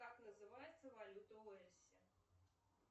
как называется валюта в уэльсе